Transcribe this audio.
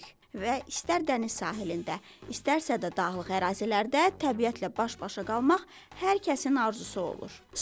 Və istər dəniz sahilində, istərsə də dağlıq ərazilərdə təbiətlə baş-başa qalmaq hər kəsin arzusu olur.